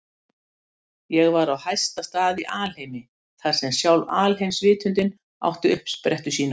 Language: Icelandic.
Ég var á hæsta stað í alheimi, þar sem sjálf alheimsvitundin átti uppsprettu sína.